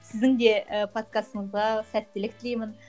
сіздің де і подкастыңызға сәттілік тілеймін